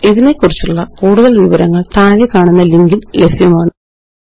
ഇതിനെക്കുറിച്ചുള്ള കൂടുതല് വിവരങ്ങള് താഴെക്കാണുന്ന ലിങ്കില് ലഭ്യമാണ് httpspoken tutorialorgNMEICT Intro